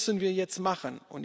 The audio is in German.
Das müssen wir jetzt machen.